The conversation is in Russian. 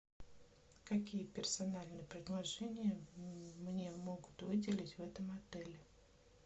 какие персональные предложения мне могут выделить в этом отеле